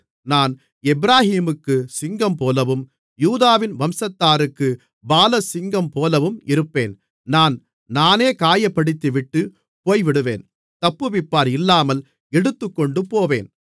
நான் எப்பிராயீமுக்குச் சிங்கம்போலவும் யூதாவின் வம்சத்தாருக்குப் பாலசிங்கம்போலவும் இருப்பேன் நான் நானே காயப்படுத்திவிட்டுப் போய்விடுவேன் தப்புவிப்பார் இல்லாமல் எடுத்துக்கொண்டு போவேன்